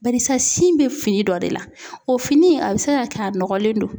Barisa sin be fini dɔ de la, o fini a be se ka kɛ a nɔgɔlen don.